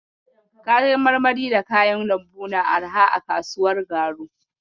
Kayan marmari da kayan lambu na arha a kasuwar garu.